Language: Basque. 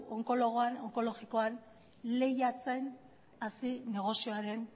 onkologikoa negozioaren baitan lehiatzen